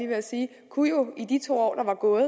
at sige kunne jo i de to år der var gået